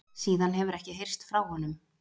Síðan hefur ekki heyrst frá honum